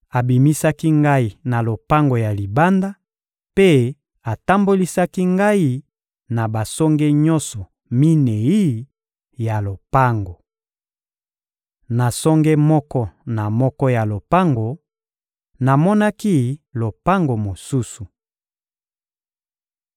Abimisaki ngai na lopango ya libanda mpe atambolisaki ngai na basonge nyonso minei ya lopango. Na songe moko na moko ya lopango, namonaki lopango mosusu.